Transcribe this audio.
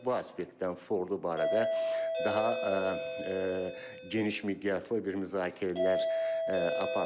Bu aspektdən Fordo barədə daha geniş miqyaslı bir müzakirələr aparılır.